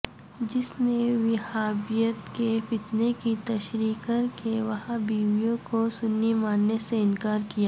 جس میں وہابیت کے فتنے کی تشریح کرکے وہابییوں کو سنی ماننے سے انکار کیا